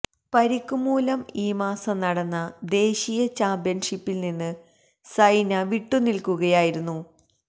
പരിക്ക് മൂലം ഈ മാസം നടന്ന ദേശീയ ചാമ്പ്യന്ഷിപ്പില് നിന്ന് സൈന വിട്ടുനില്ക്കുകയായിരുന്നു